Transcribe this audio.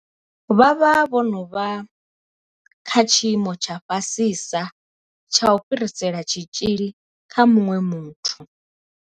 Vha vha vho no vha kha tshiimo tsha fhasisa tsha u fhirisela tshitzhili kha muṅwe muthu.